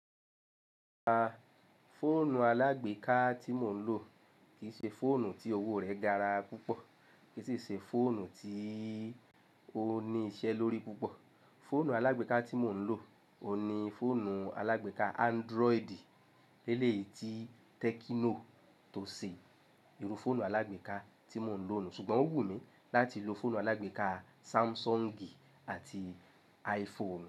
A, fóònù alágbèéká tí mò ń lò kì í ṣe fóònù tí owó rè gara púpọ̀, kì í sì ṣe fóònù tí ó ní iṣẹ́ lórí púpọ̀. Fóònù alágbèéká tí mò ń lò ò ní fóònù alágbèéká Android. Léle yìí tí Tecno tó ṣe ìrù fóònù alágbèéká tí mò ń lò nù, ṣùgbọ́n ó wù mí láti lo fóònù alágbèéká Samsung àti iPhone.